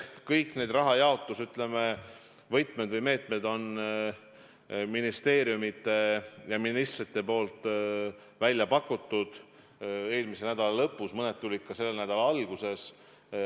Kõik need rahajaotuse võtmed või meetmed said ministeeriumide ja ministrite poolt pakutud eelmise nädala lõpus, mõned tulid ka selle nädala alguses.